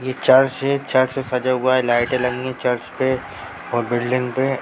यह चर्च है चर्च से सजा हुआ लाइटे लगी है चर्च पे और बिल्डिंग पे ।